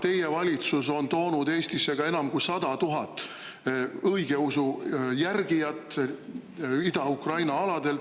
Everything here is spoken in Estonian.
Teie valitsus on toonud Eestisse ka enam kui 100 000 õigeusu järgijat Ida-Ukraina aladelt.